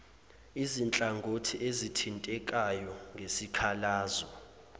izinhlangothi ezithintekayo ngesikhalazo